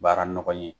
Baara nɔgɔ ye